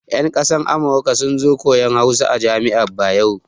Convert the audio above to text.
Yan kasar Amurka sun zo koyan Hausa a jami'ar Bayero.